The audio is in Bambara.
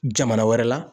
Jamana wɛrɛ la